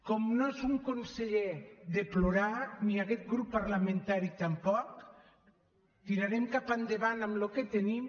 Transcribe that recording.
com no és un conseller de plorar ni aquest grup parlamentari tampoc tirarem cap endavant amb el que tenim